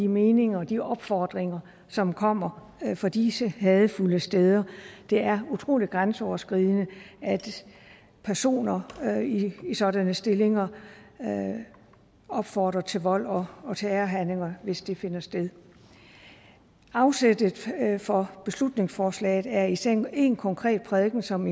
meninger og de opfordringer som kommer fra disse hadefulde steder det er utrolig grænseoverskridende at personer i sådanne stillinger opfordrer til vold og og terrorhandlinger hvis det finder sted afsættet for beslutningsforslaget er især en konkret prædiken som